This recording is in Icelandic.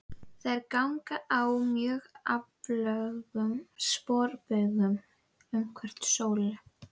Þær ganga á mjög aflöngum sporbaugum umhverfis sólu.